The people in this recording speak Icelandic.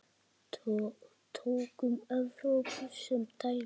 Tökum Evrópu sem dæmi.